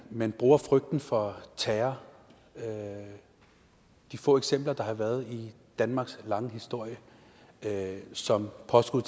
man bruger frygten for terror de få eksempler der har været i danmarks lange historie som påskud